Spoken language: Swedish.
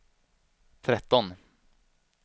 tretton